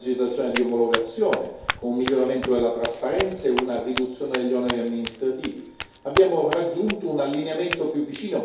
Ma, abbiamo anche fatto la semplificazione della legislazione di omologazione, con un miglioramento della trasparenza e una riduzione degli oneri amministrativi